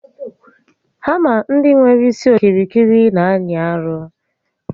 Hama ndị nwere isi okirikiri n'anyị arụ